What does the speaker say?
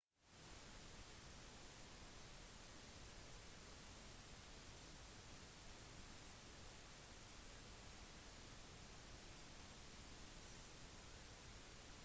superinntektene hentet fra utnyttelsen av det filippinske folket var en grunnleggende gevinst av usas imperialisme